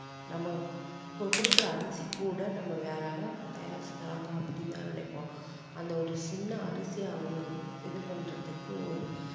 நம்ம கொ~ கொடுக்குற அரிசி கூட நம்ம வேற யாராவது தயாரிச்சு தர்றாங்க அப்படீன்னுதான் நினைப்போம் அந்த ஒரு சின்ன அரிசி அவங்க இது பண்றதுக்கு ஒரு